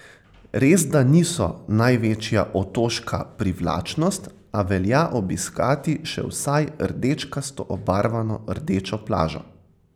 Resda niso največja otoška privlačnost, a velja obiskati še vsaj rdečkasto obarvano Rdečo plažo.